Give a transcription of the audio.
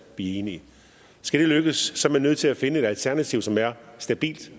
vi er enige skal det lykkes er man nødt til at finde et alternativ som er stabilt